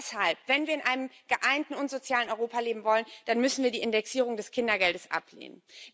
Deshalb Wenn wir in einem geeinten und sozialen Europa leben wollen, dann müssen wir die Indexierung des Kindergeldes ablehnen.